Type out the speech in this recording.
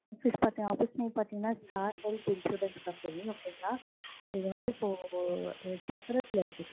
office name பாத்தீங்கன்னா star health insurance அப்டீன்னு okay ங்களா? இது வந்து இப்போ சத்திரத்தில இருக்கு